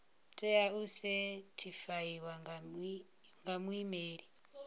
tea u sethifaiwa nga muimeli